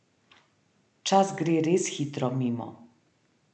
Čas gre res hitro mimo.